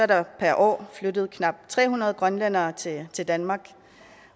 der per år flyttet knap tre hundrede grønlændere til til danmark